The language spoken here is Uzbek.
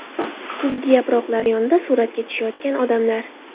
Kuzgi yaproqlar yonida suratga tushayotgan odamlar.